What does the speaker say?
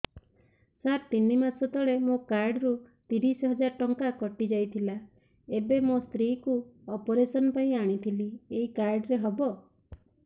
ସାର ତିନି ମାସ ତଳେ ମୋ କାର୍ଡ ରୁ ତିରିଶ ହଜାର ଟଙ୍କା କଟିଯାଇଥିଲା ଏବେ ମୋ ସ୍ତ୍ରୀ କୁ ଅପେରସନ ପାଇଁ ଆଣିଥିଲି ଏଇ କାର୍ଡ ରେ ହବ